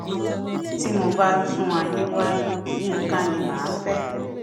tí mo bá tún ayé wa yinka ni mà á fẹ